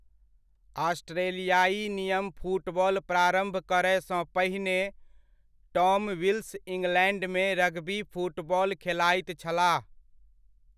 ऑस्ट्रेलियाई नियम फुटबॉल प्रारम्भ करयसँ पहिने टॉम विल्स इंग्लैण्डमे रग्बी फुटबॉल खेलाइत छलाह।